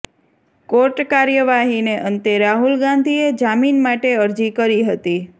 court કાર્યવાહીને અંતે રાહુલ ગાંધીએ જામીન માટે અરજી કરી હતી